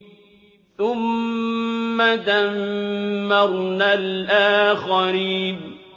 ثُمَّ دَمَّرْنَا الْآخَرِينَ